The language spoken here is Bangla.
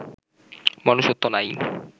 মনুষ্যত্ব নাই